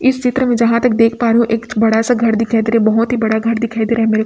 इस चित्र में जहां तक देख पा रही हूं एक बड़ा सा घर दिखाई दे रहा है बहुत ही बड़ा घर दिखाई दे रहा है।